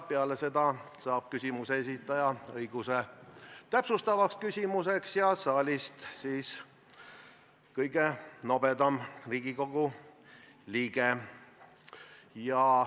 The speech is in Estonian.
Peale seda saab küsimuse esitaja õiguse esitada täpsustav küsimus ja saalist saab küsimuse esitada kõige nobedam Riigikogu liige.